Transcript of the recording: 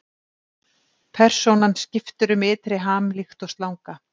Persónan skiptir um ytri ham líkt og slanga.